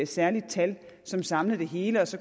særligt tal som samlede det hele og så